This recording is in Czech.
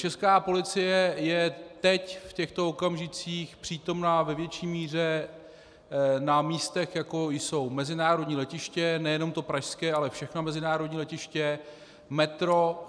Česká policie je teď, v těchto okamžicích, přítomna ve větší míře na místech, jako jsou mezinárodní letiště, nejenom ta pražská, ale všechna mezinárodní letiště, metro.